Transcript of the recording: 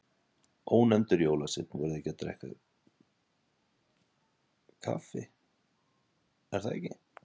Ónefndur jólasveinn: Voruð þið að drekka kaffi, er það ekki?